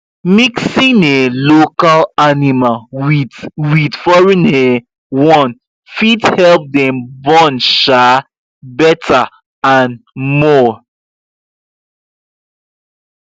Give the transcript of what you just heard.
mixing um local animal with with foreign um one fit help them born um better and more